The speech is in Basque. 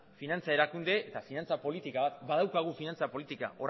finantza erakunde eta finantza politika bat da badaukagu finantza politika